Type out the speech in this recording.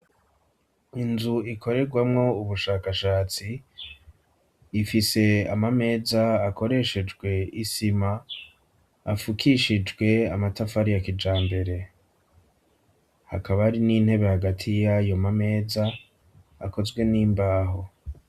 Inzu ikorerwamwo ubushakashatsi, ifise amameza akoreshejwe isima, afukishijwe amatafari ya kijambere; hakaba hari n'intebe hagati y'ayo mameza akozwe n'imbaho.